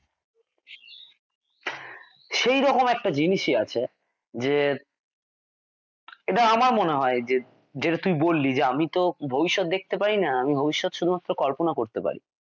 সেই রকম একটা জিনিসই আছে যে এটা আমার মনে হয় যে যেটা তুই বললি যে আমি তো ভবিষ্যৎ দেখতে পারিনা আমি ভবিষ্যৎ শুধুমাত্র কল্পনা করতে পারি।